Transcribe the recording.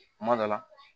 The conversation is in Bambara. Kuma dɔ la